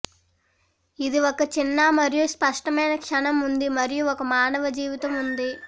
ఇది ఒక చిన్న మరియు స్పష్టమైన క్షణం ఉంది మరియు ఒక మానవ జీవితం ఉంది